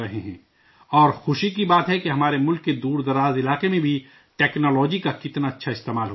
اور خوشی کی بات ہے کہ ہمارے ملک کے دور دراز علاقے میں بھی ٹیکنالوجی کا اتنا بہتر استعمال ہو رہا ہے